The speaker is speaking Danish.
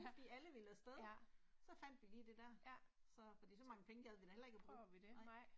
Fordi alle ville afsted. Så fandt vi lige det der. Så. Fordi så mange penge gad vi da heller ikke og bruge, nej